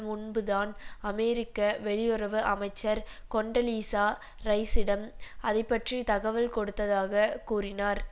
முன்புதான் அமெரிக்க வெளியுறவு அமைச்சர் கொண்டலீசா ரைசிடம் அதை பற்றி தகவல் கொடுத்ததாக கூறினார்